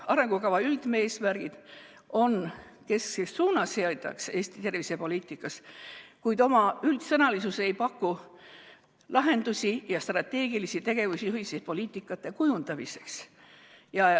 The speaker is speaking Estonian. Arengukava üldeesmärgid on keskseks suunaseadjaks Eesti tervisepoliitikas, kuid oma üldsõnalisuses ei paku lahendusi ja strateegilisi tegevusjuhiseid poliitika kujundamiseks.